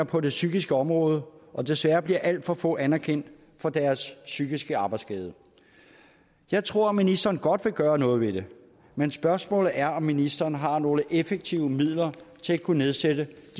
på det psykiske område og desværre bliver alt for få anerkendt for deres psykiske arbejdsskade jeg tror ministeren godt vil gøre noget ved det men spørgsmålet er om ministeren har nogle effektive midler til at kunne nedsætte